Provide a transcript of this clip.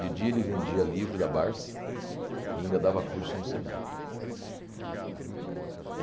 De dia ele vendia livro da Barça e ainda dava curso no Senai.